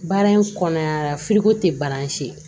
Baara in kɔnɔ a tɛ baara si ye